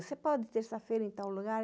Você pode terça-feira ir em tal lugar?